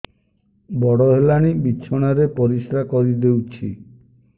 ବଡ଼ ହେଲାଣି ବିଛଣା ରେ ପରିସ୍ରା କରିଦେଉଛି